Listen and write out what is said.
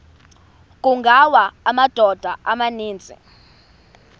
kungawa amadoda amaninzi